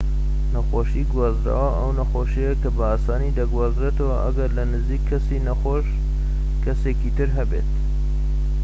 نەخۆشیی گوازراوە ئەو نەخۆشیەیە کە بە ئاسانی دەگوازرێتەوە ئەگەر لە نزیك کەسی نەخۆش کەسێکی تر هەبێت